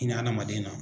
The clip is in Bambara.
Hinɛ adamaden na